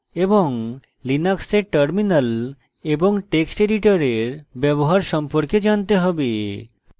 linux terminal এবং text editor ব্যবহার সম্পর্কে জানতে have